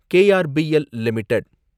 KRBL limited